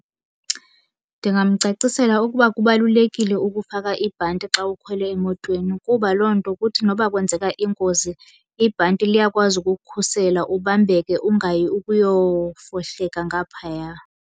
Ndingamcacisela ukuba kubalulekile ukufaka ibhanti xa ukhwele emotweni, kuba loo nto kuthi noba kwenzeka ingozi ibhanti liyakwazi ukukukhusela ubambeke ungayi ukuyofohleka ngaphaya.